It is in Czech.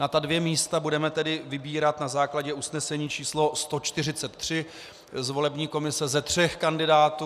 Na ta dvě místa budeme tedy vybírat na základě usnesení číslo 143 z volební komise ze tří kandidátů.